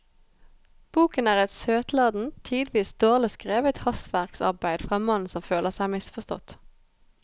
Boken er et søtladent, tidvis dårlig skrevet hastverksarbeid fra en mann som føler seg misforstått.